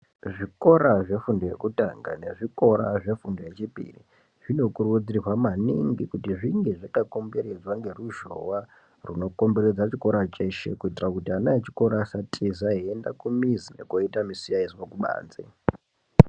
Zvikora zvefundo yekutanga nezvikora zvefundo yechipiri zvinokurudzirwa maningi kuti zvinge zvakakomberedzwa ngeruzhowa runokomberedza chikora cheshe kuitira kuti ana echikora asatiza eiende kumizi nekoita musiyaizwa kubanze.